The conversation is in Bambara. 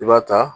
I b'a ta